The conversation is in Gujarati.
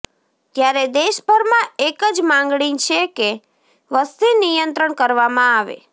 ત્યારે દેશભરમાં એક જ માંગણી છે કે વસ્તી નિયંત્રણ કરવામાં આવે